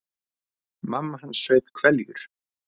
Mamma hans saup hveljur.